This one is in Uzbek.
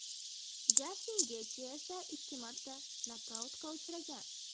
Jastin Getji esa ikki marta nokautga uchragan.